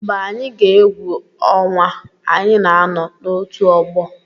Mgbe anyị gaa egwu ọnwa, anyị na-anọ n'otù ọgbọ.